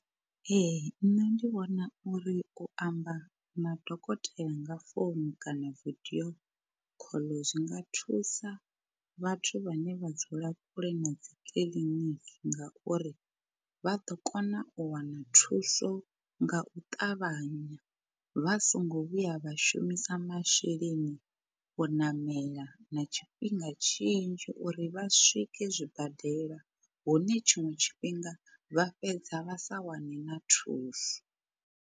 Ee nṋe ndi vhona uri u amba na dokotela nga founu kana video call zwinga thusa vhathu vhane vha dzula kule na dzi kiḽiniki ngauri, vha ḓo kona u wana thuso nga u ṱavhanya vha songo vhuya vha shumisa masheleni u ṋamela na tshifhinga tshinzhi uri vha swike zwibadela hune tshiṅwe tshifhinga vha fhedza vha sa wane na thuso.